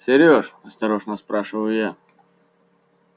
серёж осторожно спрашиваю я